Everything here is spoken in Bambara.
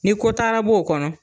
Ni ko taara b'ɔ o kɔnɔ.